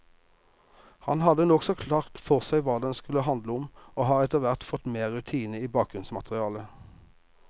Han hadde nokså klart for seg hva den skulle handle om, og har etterhvert fått mer rutine med bakgrunnsmaterialet.